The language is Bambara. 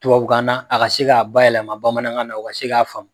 Tuwawukan na, a ka se k'a bayɛlɛma bamanankan na u ka se k'a faamu.